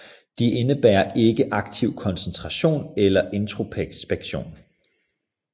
De indebærer ikke aktiv koncentration eller introspektion